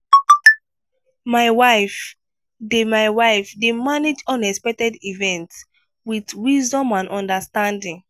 my wife dey my wife dey manage unexpected events with wisdom and understanding.